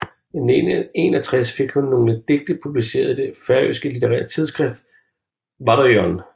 I 1961 fik hun nogle digte publiceret i det færøske litterære tidsskrift Varðin